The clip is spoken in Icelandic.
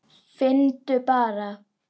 Finndu bara!